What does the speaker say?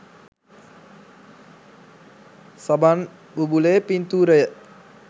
සබන් බුබුලේ පින්තූරය.